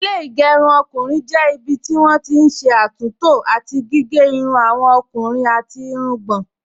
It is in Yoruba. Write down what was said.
Ilé ìgẹrun ọkùnrin jẹ́ ibi tí wọ́n ti n ṣé àtúntò àti gígé irun àwọn ọkùnrin àti irungbọ̀n